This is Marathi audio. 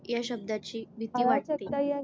या शब्दाची भीती वाटते.